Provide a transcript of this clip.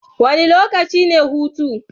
Wane lokaci ne hutu?